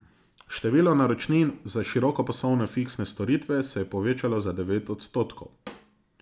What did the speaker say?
Število naročnin za širokopasovne fiksne storitve se je povečalo za devet odstotkov.